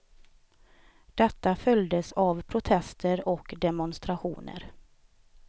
Detta följdes av protester och demonstrationer.